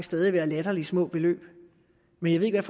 stadig være latterligt små beløb men jeg